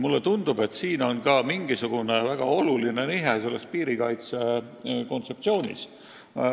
Mulle tundub, et tegu on ka mingisugune väga olulise nihkega piirikaitse kontseptsioonis.